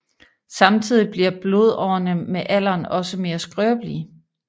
Samtidig bliver blodårene med alderen også mere skrøbelige